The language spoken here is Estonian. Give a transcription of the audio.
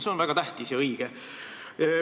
See on väga tähtis ja õige.